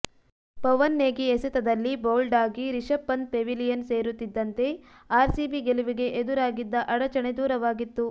ಪವನ್ ನೇಗಿ ಎಸೆತದಲ್ಲಿ ಬೌಲ್ಡ್ ಆಗಿ ರಿಷಭ್ ಪಂತ್ ಪೆವಿಲಿಯನ್ ಸೇರುತ್ತಿದ್ದಂತೆ ಆರ್ಸಿಬಿ ಗೆಲುವಿಗೆ ಎದುರಾಗಿದ್ದ ಅಡಚಣೆ ದೂರವಾಗಿತ್ತು